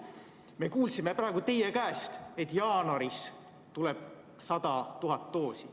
Me kuulsime praegu teie käest, et jaanuaris tuleb 100 000 doosi.